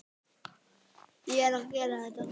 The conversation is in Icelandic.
Ég er að gera þetta.